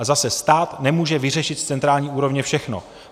A zase, stát nemůže vyřešit z centrální úrovně všechno.